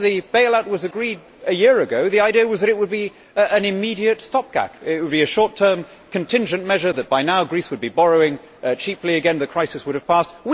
When the bail out was agreed a year ago, the idea was that it would be an immediate stop gap, that it would be a short term contingent measure, and that by now, Greece would be borrowing cheaply again as the crisis would have passed.